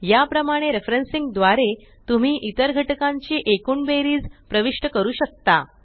या प्रमाणे रेफरेन्सिंग द्वारे तुम्ही इतर घटकांची एकूण बेरीज प्रविष्ट करू शकता